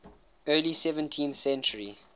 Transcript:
early seventeenth century